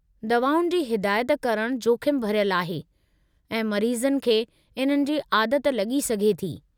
दवाउनि जी हिदायत करणु जोखिमु भरियलु आहे ऐं मरीज़नि खे इन्हनि जी आदत लॻी सघे थी।